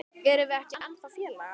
Erum við ekki ennþá félagar?